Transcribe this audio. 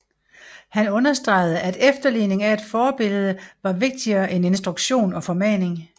Han understregede at efterligning af et forbillede var vigtigere end instruktion og formaning